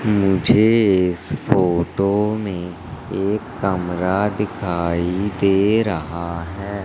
मुझे इस फोटो में एक कमरा दिखाई दे रहा है।